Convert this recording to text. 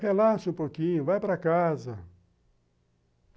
Relaxa um pouquinho, vai para casa.